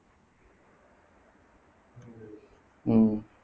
உம்